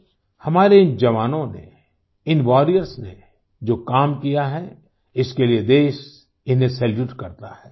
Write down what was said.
साथियो हमारे इन जवानों ने इन वॉरियर्स ने जो काम किया है इसके लिए देश इन्हें सैल्यूट करता है